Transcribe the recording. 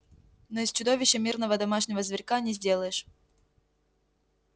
но из чудовища мирного домашнего зверька не сделаешь